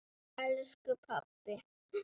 Elsku pabbi.